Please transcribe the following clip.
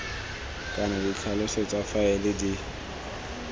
kana ditlhaloso tsa faele di